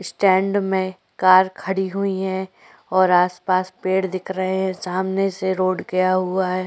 Stand में car खड़ी हुई है और आस-पास पेड़ दिख रहे हैं सामने से रोड गया हुआ है।